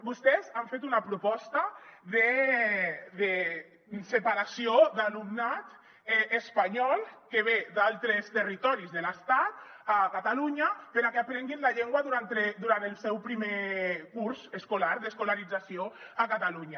vostès han fet una proposta de separació d’alumnat espanyol que ve d’altres territoris de l’estat a catalunya perquè aprengui la llengua durant el seu primer curs escolar d’escolarització a catalunya